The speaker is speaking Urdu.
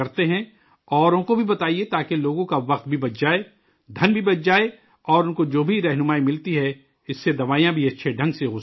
اوروں کو بھی بتائیے تاکہ لوگوں کا وقت بھی بچ جائے، پیسہ بھی بچ جائے اور ان کو جو بھی رہنمائی ملتی ہے، اس سے دوائیں بھی اچھے طریقے سے ہو سکتی ہیں